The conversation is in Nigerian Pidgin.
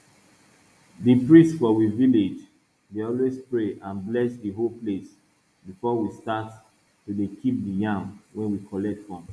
di priest for we village dey always pray and bless di whole place before we start to dey keep di yam wey we collect from